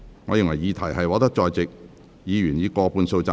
我認為議題獲得在席議員以過半數贊成。